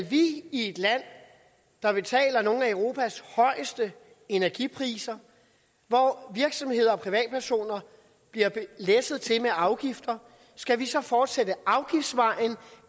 vi i et land der betaler nogle af europas højeste energipriser og hvor virksomheder og privatpersoner bliver læsset til med afgifter skal fortsætte ad afgiftsvejen